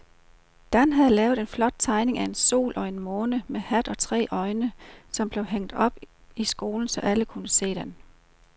Dan havde lavet en flot tegning af en sol og en måne med hat og tre øjne, som blev hængt op i skolen, så alle kunne se den.